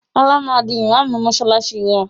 Ọlá máa di ìmaamù mọsálásí wá